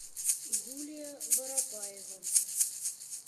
юлия воропаева